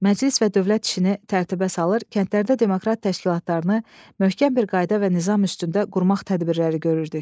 Məclis və dövlət işini tərtibə salır, kəndlərdə demokrat təşkilatlarını möhkəm bir qayda və nizam üstündə qurmaq tədbirləri görürdük.